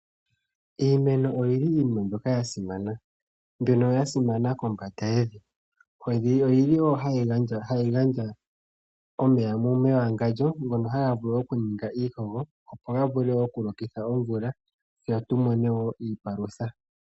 Iimeno yoili yasimana mbyoka yasimana kombanda yevi, oyili hayi gandja omeya mewangandjo ngoka haga vulu okuninga iikogo go gavule okulokitha omvula tse tumone wo iipalutha.